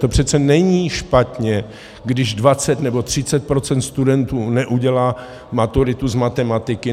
To přece není špatně, když 20 nebo 30 % studentů neudělá maturitu z matematiky.